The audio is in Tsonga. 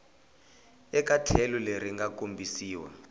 eka tlhelo leri nga kombisiwa